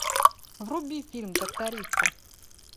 вруби фильм трактористы